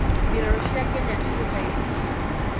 mbirarũ cia kenya ciĩ haiti